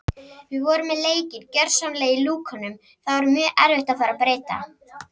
Við vorum með leikinn gjörsamlega í lúkunum þá er mjög erfitt að fara að breyta.